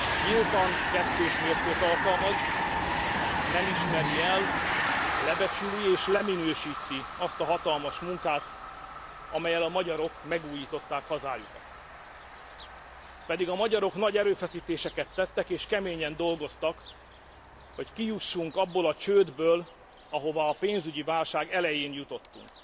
Nyíltan kettős mércét alkalmaz, nem ismeri el, lebecsüli és leminősíti azt a hatalmas munkát, amellyel a magyarok megújították hazájukat, pedig a magyarok nagy erőfeszítéseket tettek és keményen dolgoztak, hogy kijussunk abból a csődből, ahova a pénzügyi válság elején jutottunk.